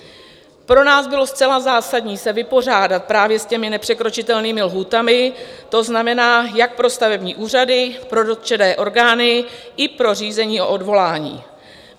Pro nás bylo zcela zásadní se vypořádat právě s těmi nepřekročitelnými lhůtami, to znamená, jak pro stavební úřady, pro dotčené orgány i pro řízení o odvolání.